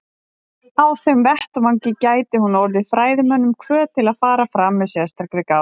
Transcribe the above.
Á þeim vettvangi gæti hún orðið fræðimönnum hvöt til að fara fram með sérstakri gát.